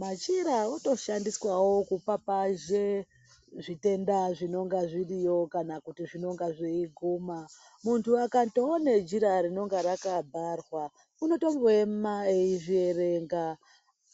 Machira otoshandiswawo kupapazhe zvitenda zvinonga zviriyo kana kuti zvinonga zveiguma, muntu akandoona jira rinonga rakavharwa unotongoema eizvierenga,